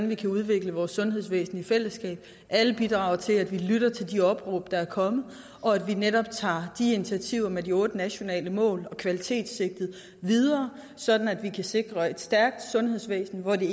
vi kan udvikle vores sundhedsvæsen i fællesskab at alle bidrager til at vi lytter til de opråb der er kommet og at vi netop tager initiativerne med de otte nationale mål og kvalitetssigtet videre sådan at vi kan sikre et stærkt sundhedsvæsen hvor det